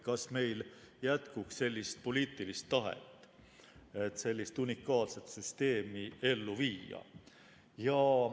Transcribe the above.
Kas meil jätkuks sellist poliitilist tahet, et sellist unikaalset süsteemi ellu viia?